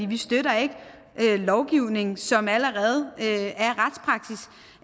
vi støtter ikke lovgivning som allerede